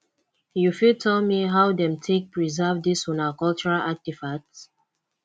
you fit tell me how them take preserve this una cultural artifacts